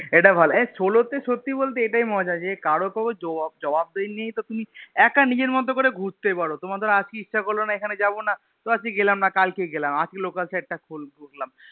এটা ভালো হ্যাঁ Solo তে সত্যি বলতে এটাই মজা যে কারোর কোনো জবাব দেয়া নেই তো তুমি একা নিজের মতো করে ঘুরতে পারো তোমার ধরো আজকে ইচ্ছা করলোনা এখানে যাবোনা তো আজকে গেলাম না কালকে গেলাম আজকে local side টা ঘুরলাম।